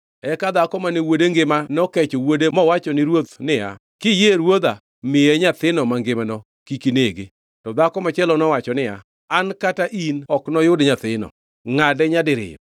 Eka dhako mane wuode ngima nokecho wuode mowacho ni ruoth niya, “Kiyie ruodha, miye nyathino mangimano! Kik inege!” To dhako machielo nowacho niya, “An kata in ok noyud nyathino. Ngʼade nyadiriyo!”